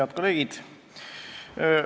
Head kolleegid!